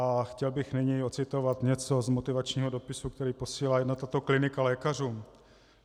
A chtěl bych nyní ocitovat něco z motivačního dopisu, který posílá jedna tato klinika lékařům.